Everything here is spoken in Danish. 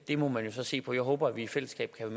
det må man jo så se på jeg håber at vi i fællesskab kan